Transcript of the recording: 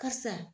Karisa